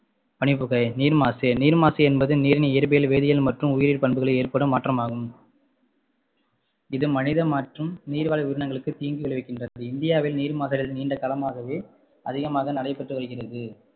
பனிப்புகை நீர் மாசு நீர்மாசு என்பது நீரின் இயற்பியல் வேதியியல் மற்றும் உயிரியல் பண்புகளில் ஏற்படும் மாற்றமாகும் இது மனித மற்றும் நீர்வாழ் உயிரினங்களுக்கு தீங்கு விளைவிக்கின்றது இந்தியாவில் நீர் நீண்ட காலமாகவே அதிகமாக நடைபெற்று வருகிறது